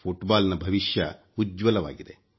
foot ball ನ ಭವಿಷ್ಯ ಉಜ್ವಲವಾಗಿದೆ